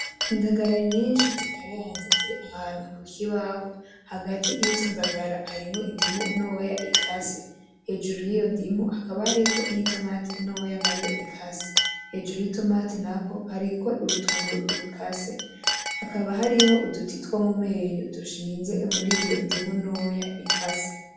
indagara nyinshi zikaranze ziri ahantu kukibaho hagati yizo ndagara hariho indimu ntoya ikase hejuru yiyo ndimu hakaba hari nitomati ntoya nayone ikase hejuru yitomati naho hariko urutunguru rukase hakaba hariho uduti two mumenyo dushinze muriyo ndimu ntoya ikase